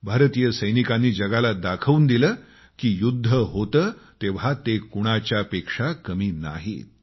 भारतीय सैनिकांनी जगाला दाखवून दिलं की युद्ध होते तेव्हा ते कुणाच्या पेक्षा कमी नाहीत